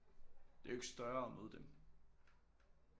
Det er jo ikke større at møde dem